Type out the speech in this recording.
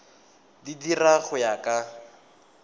di dira go ya ka